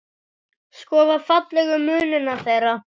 Skoða fallegu munina þeirra.